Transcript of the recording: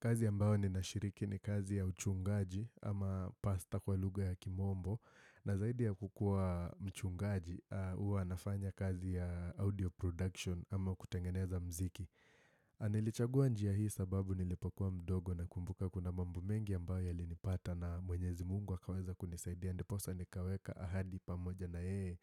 Kazi ambao ninashiriki ni kazi ya uchungaji ama pastor kwa lugha ya kimombo na zaidi ya kukua mchungaji huwa nafanya kazi ya audio production ama kutengeneza mziki. Nilichagua njia hii sababu nilipokua mdogo nakumbuka kuna mambo mengi ambayo yalinipata na mwenyezi mungu akaweza kunisaidia. Ndiposa nikaweka ahadi pamoja na yeye